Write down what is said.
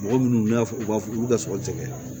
Mɔgɔ minnu y'a fɔ u ka olu ka sɔrɔ tɛ kɛ